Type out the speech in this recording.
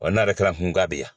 Ɔ n'a bɛ taara kunkan b'i yan.